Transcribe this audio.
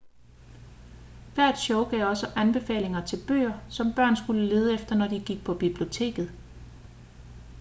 hvert show gav også anbefalinger til bøger som børn skulle lede efter når de gik på biblioteket